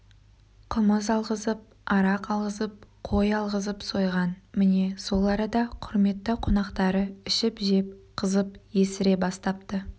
қымыз алғызып арақ алғызып қой алғызып сойған міне сол арада құрметті қонақтары ішіп-жеп қызып есіре бастапты